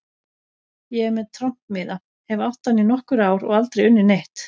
Ég er með trompmiða, hef átt hann í nokkur ár og aldrei unnið neitt.